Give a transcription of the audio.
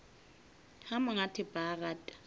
ha monga thepa a rata